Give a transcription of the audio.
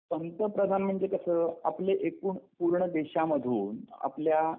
पंतप्रधान म्हणजे कसं आपलं एकूण पूर्ण देशामधून आपल्या